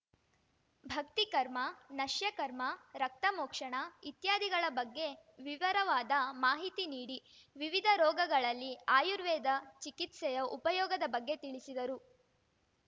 ಭಕ್ತಿ ಕರ್ಮ ನಶ್ಯಕರ್ಮ ರಕ್ತಮೋಕ್ಷಣ ಇತ್ಯಾದಿಗಳ ಬಗ್ಗೆ ವಿವಿರವಾದ ಮಾಹಿತಿ ನೀಡಿ ವಿವಿಧ ರೋಗಗಳಲ್ಲಿ ಆಯುರ್ವೇದ ಚಿಕಿತ್ಸೆಯ ಉಪಯೋಗದ ಬಗ್ಗೆ ತಿಳಿಸಿದರು